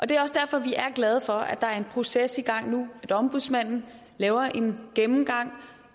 det er også derfor vi er glade for at der er en proces i gang nu hvor ombudsmanden laver en gennemgang og